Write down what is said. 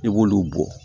I b'olu bɔ